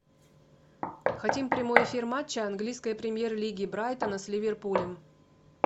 хотим прямой эфир матча английской премьер лиги брайтона с ливерпулем